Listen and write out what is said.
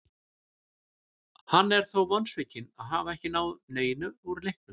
Hann er þó vonsvikinn að hafa ekki náð neinu úr leiknum.